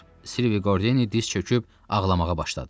Silvi Qordeni diz çöküb ağlamağa başladı.